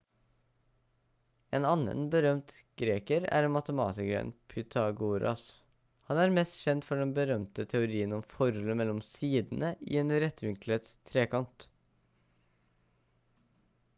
en annen berømt greker er matematikeren pytagoras han er mest kjent for den berømte teorien om forholdet mellom sidene i en rettvinklet trekant